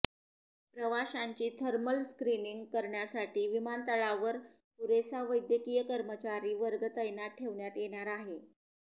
प्रवाशांची thermal screening करण्यासाठी विमानतळावर पुरेसा वैद्यकीय कर्मचारी वर्ग तैनात ठेवण्यात येणार आहे